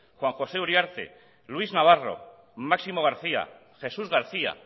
juan josé uriarte luis navarro máximo garcía jesús garcía